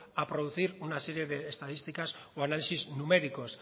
a producir una serie de estadísticas o análisis numéricos